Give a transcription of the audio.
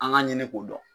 An ka ɲini k'o dɔn